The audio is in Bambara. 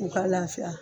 U ka lafiya